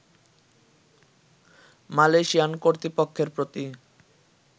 Malaysian কর্তৃপক্ষের প্রতি